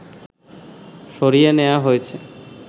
সরিয়ে নেয়া হয়েছে